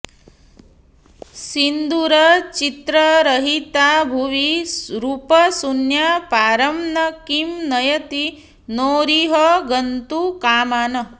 सिन्दूरचित्ररहिता भुवि रूपशून्या पारं न किं नयति नौरिह गन्तुकामान्